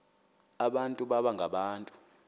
abantu baba ngabantu